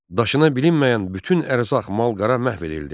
Daşına bilinməyən bütün ərzaq, mal-qara məhv edildi.